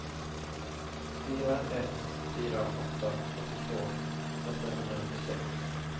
fyra ett fyra åtta åttiotvå åttahundranittiosex